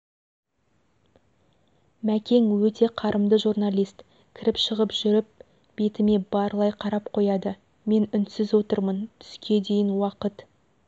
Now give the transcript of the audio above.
мәкең-өте қарымды журналист кіріп шығып жүріп бетіме барлай қарап қояды мен үнсіз отырмын түске дейін уақыт